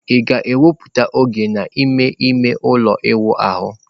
Ị ga-ewepụta oge n'ime ime ụlọ ịwụ ahụ?